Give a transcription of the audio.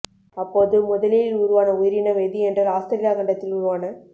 அப்போது முதலில் உருவான உயிரினம் எது என்றால் ஆஸ்திரேலியா கண்டத்தில் உருவான